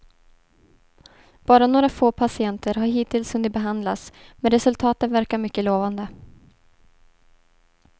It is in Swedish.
Bara några få patienter har hittills hunnit behandlas, men resultaten verkar mycket lovande.